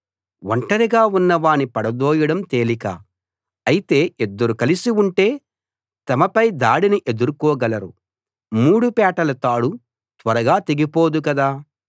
ఒంటరిగా ఉన్నవాణ్ణి పడదోయడం తేలిక అయితే ఇద్దరు కలిసి ఉంటే తమపై దాడిని ఎదుర్కోగలరు మూడు పేటల తాడు త్వరగా తెగిపోదు గదా